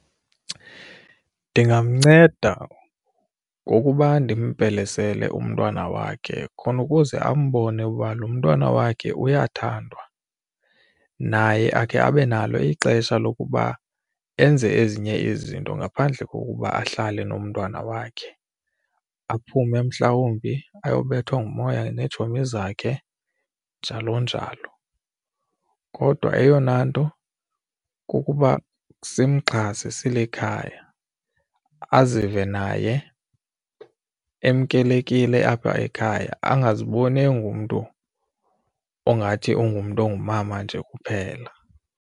Ndingamnceda ngokuba ndimpelesele umntwana wakhe khona ukuze ambone uba lo mntwana wakhe uyathandwa naye akhe abe nalo ixesha lokuba enze ezinye izinto ngaphandle kokuba ahlale nomntwana wakhe, aphume mhlawumbi ayobethwa ngumoya neetshomi zakhe njalo njalo. Kodwa eyona nto kukuba simxhase silikhaya azive naye emkelekile apha ekhaya angaziboni engumntu ongathi ungumntu ongumama nje kuphela.